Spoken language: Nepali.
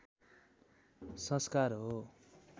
संस्कार हो